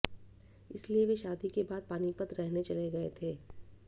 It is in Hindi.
इसलिए वे शादी के बाद पानीपत रहने चले गए थे